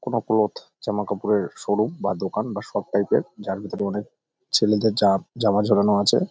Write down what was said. কোন ক্লোথ জামা কাপড়ের শোরুম বা দোকান বা শপ টাইপ -এর যার ভেতরে অনেক ছেলেদের জা জামা ঝোলানো আছে ।